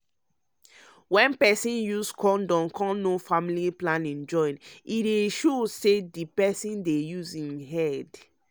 wen peson use condom come know family planning join e dey show say di peson dey use im head.